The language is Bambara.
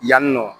Yanni nɔ